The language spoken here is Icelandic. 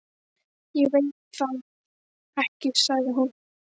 Ég veit það ekki sagði hún.